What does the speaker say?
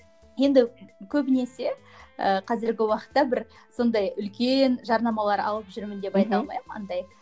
енді көбінесе і қазіргі уақытта бір сондай үлкен жарнамалар алып жүрмін деп айта алмаймын андай